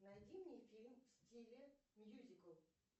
найди мне фильм в стиле мьюзикл